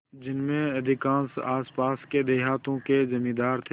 जिनमें अधिकांश आसपास के देहातों के जमींदार थे